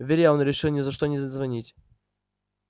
вере он решил ни за что не звонить